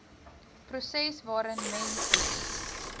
proses waarin mense